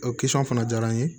O fana diyara n ye